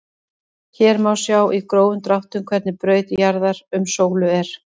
Hér má sjá í grófum dráttum hvernig braut jarðar um sólu er.